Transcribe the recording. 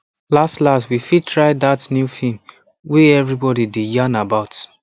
last last we fit try that new film way everybody dey yan about